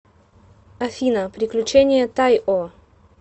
афина приключения тайо